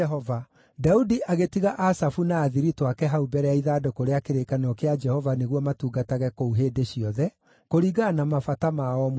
Daudi agĩtiga Asafu na athiritũ ake hau mbere ya ithandũkũ rĩa kĩrĩkanĩro kĩa Jehova nĩguo matungatage kuo hĩndĩ ciothe, kũringana na mabata ma o mũthenya.